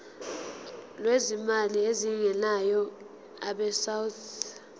lwezimali ezingenayo abesouth